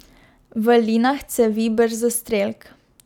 V linah cevi brzostrelk.